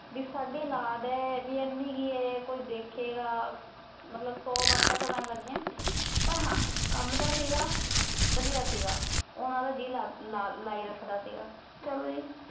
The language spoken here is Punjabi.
ਬੀ ਸਾਡੀ ਔਲਾਦ ਐ, ਬੀ ਐਨੀ ਕ ਇਹ ਕੋਈ ਦੇਖੇਗਾ ਮਤਲਬ ਸੋ ਬਾਤਾ ਚੱਲਣ ਲੱਗੀਆਂ। ਪਰ ਹਾਂ ਕੰਮ ਦਾ ਸੀਗਾ, ਵਧੀਆਂ ਸੀਗਾ। ਉਹਨਾ ਦਾ ਜੀਅ ਲਾਈ ਰੱਖਦਾ ਸੀਗਾ। ਚਲੋ ਜੀ,